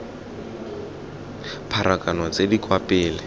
pharakano tse di kwa pele